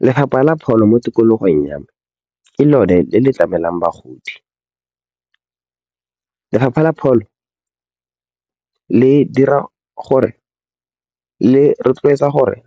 Lefapha la pholo mo tikologong ya me ke lone le le tlamelang bagodi. Lefapha la pholo le rotloetsa gore